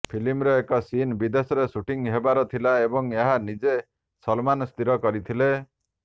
ଫିଲ୍ମର ଏକ ସିନ୍ ବିଦେଶରେ ସୁଟିଂ ହେବାର ଥିଲା ଏବଂ ଏହା ନିଜେ ସଲମାନ୍ ସ୍ଥିର କରିଥିଲେ